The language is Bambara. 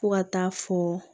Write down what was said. Fo ka taa fɔ